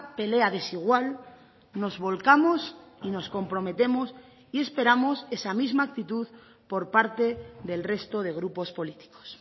pelea desigual nos volcamos y nos comprometemos y esperamos esa misma actitud por parte del resto de grupos políticos